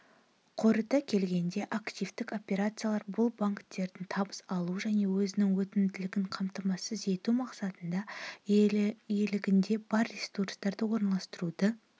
қорыта келгенде активтік операциялар бұл банктердің табыс алу және өзінің өтімділігін қамтамасыз ету мақсатында иелігінде бар ресурстарды орналастыруды